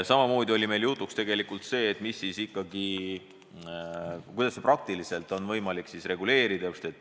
Ka oli meil jutuks, kuidas ikkagi on seda praktiliselt võimalik reguleerida.